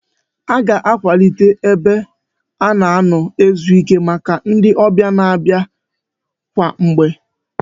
A ga-akwalite ebe a na-anọ ezuike maka ndị ọbịa na-abịa kwa mgbe